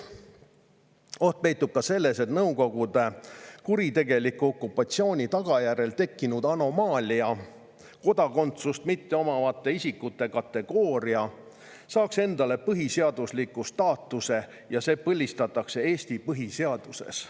Oht peitub ka selles, et Nõukogude kuritegeliku okupatsiooni tagajärjel tekkinud anomaalia, kodakondsust mitteomavate isikute kategooria, saaks endale põhiseadusliku staatuse ja põlistataks Eesti põhiseaduses.